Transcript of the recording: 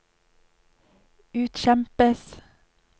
utkjempes